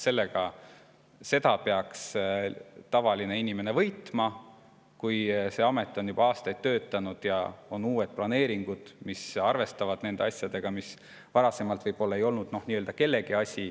Selles peaks seisnema tavalise inimese võit, kui see amet on juba aastaid töötanud ja on uued planeeringud, mis arvestavad nende asjadega, mis seni võib-olla pole olnud nagu kellegi asi.